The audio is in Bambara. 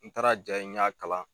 N taara ja n ɲa kalan